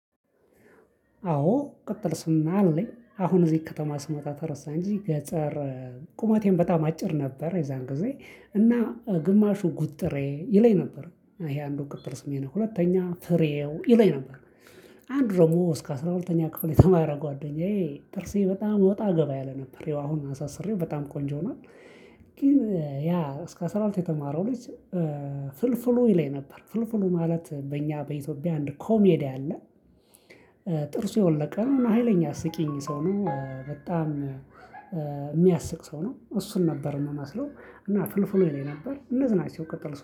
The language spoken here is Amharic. አዎ ቅጥል ስም አለኝ አሁን እዚህ ከተማ ስመጣ ተረሳ እንጂ ገጠር። ቁመቴን በጣም አጭር ነበር የዛን ጊዜ እና ግማሹ ጉጥሬ ይለኝ ነበር ይሄ አንዱ ቅጥል ስሜ ነው ሁለተኛ ፍሬው ይለኝ ነበር። አንድ ደግሞ እስከ አስራ ሁለተኛ ክፍል የተማረ ጓደኛዬ ጥርሴ በጣም ወጣ ገባ ያለ ነበር አሁን አሳስሬው በጣም ቆንጆ ሆኖአል። ግን ያ እስከ አስራ ሁለት የተማረው ልጅ። ፍልፍሉ ይለኝ ነበር ፍልፍሉ ማለት በእኛ በኢትዮጵያ አንድ ኮሜዲያን አለ። ጥርሱ የወለቀ ነው ሀይለኛ አስቂኝ ሰው ነው በጣም የሚያስቅ ሰው ነው እሱን ነበር የምመስለው። እና ፍልፍሉ ይለኝ ነበር እነዚህ ናቸው ቅጥል